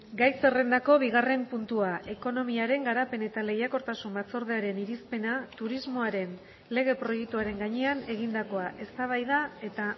gai zerrendako bigarren puntua ekonomiaren garapen eta lehiakortasun batzordearen irizpena turismoaren lege proiektuaren gainean egindakoa eztabaida eta